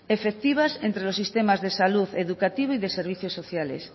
efectivas entre los sistemas de salud educativo y de servicios sociales